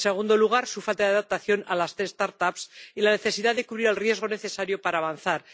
En segundo lugar, su falta de adaptación a las start ups y la necesidad de cubrir el riesgo necesario para avanzar.